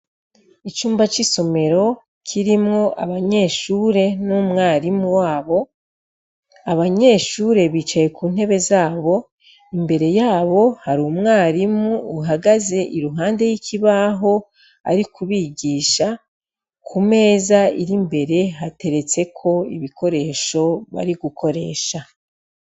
Icumba cisomero kirimwo abanyeshure n'umwarimu wabo abanyeshure bicaye kuntebe zabo imbere zabo hari umwarimu ari kubigisha kumeza imbere hateretseko ibikoresho bari gukoresha.